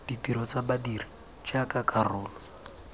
ditiro tsa badiri jaaka karolo